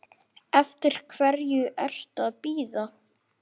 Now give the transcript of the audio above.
Eftir hverju ertu að bíða!